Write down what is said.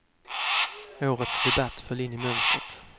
Årets debatt föll in i mönstret.